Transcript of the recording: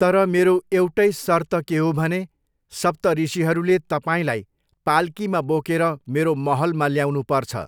तर मेरो एउटै सर्त के हो भने सप्तऋषीहरूले तपाईँलाई पालकीमा बोकेर मेरो महलमा ल्याउनुपर्छ।